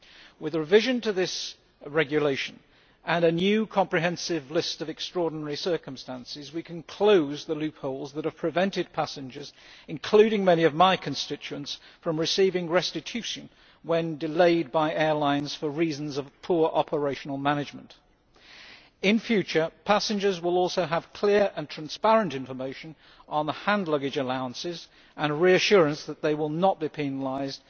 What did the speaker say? With the revision to this regulation and a new comprehensive list of extraordinary circumstances, we can close the loopholes which have prevented passengers including many of my constituents from receiving restitution when delayed by airlines for reasons of poor operational management. In future, passengers will also have clear and transparent information on hand luggage allowances and reassurance that they will not be penalised